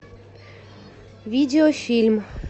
видеофильм